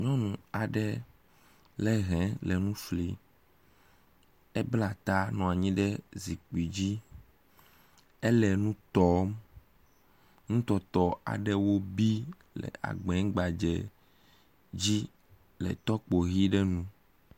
Nyɔnu aɖe lé hɛ le nu flim. Ebla ta nɔ anyi ɖe zikpui dzi. Ele nu tɔm. Nu tɔtɔ aɖewo bi egbenu gbadzɛ dzi le tɔkpo ʋi ɖe nu.